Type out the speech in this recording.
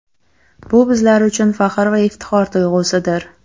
Bu bizlar uchun faxr va iftixor tuyg‘usidir.